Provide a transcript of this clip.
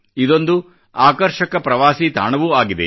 ಇದೊಂದು ಆಕರ್ಷಕ ಪ್ರವಾಸಿ ತಾಣವೂ ಆಗಿದೆ